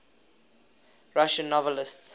russian novelists